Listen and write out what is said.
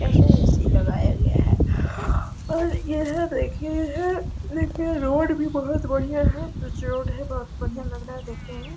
ऐसा ए.सी. लगाया गया है और यह देखिये है एक रोड भी बहुत बढ़ियाँ है रोड है बहुत बढियाँ लग रहा है देखने में।